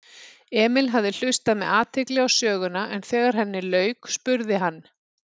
Emil hafði hlustað með athygli á söguna en þegar henni lauk spurði hann